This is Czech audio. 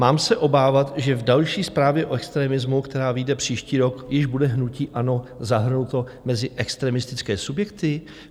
Mám se obávat, že v další zprávě o extremismu, která vyjde příští rok, již bude hnutí ANO zahrnuto mezi extremistické subjekty?